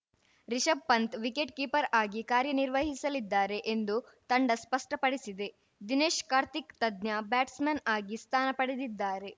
Rishabh Pant wicket keeper ಆಗಿ ಕಾರ್ಯನಿರ್ವಹಿಸಲಿದ್ದಾರೆ ಎಂದು ತಂಡ ಸ್ಪಷ್ಟಪಡಿಸಿದೆ ದಿನೇಶ್‌ ಕಾರ್ತಿಕ್‌ ತಜ್ಞ ಬ್ಯಾಟ್ಸ್‌ಮನ್‌ ಆಗಿ ಸ್ಥಾನ ಪಡೆದಿದ್ದಾರೆ